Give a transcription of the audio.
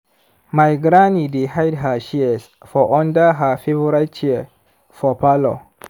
my granny dey hide her shears for under her favorite chair for parlor.